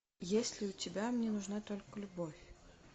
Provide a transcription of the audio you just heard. есть ли у тебя мне нужна только любовь